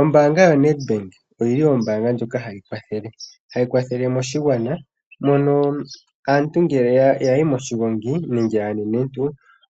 Ombanga yo Nedbank oyili ombanga ndjoka hayi kwathele, hayi kwathele moshingwana mono aantu ngele yayi moshingongi nenge anenentu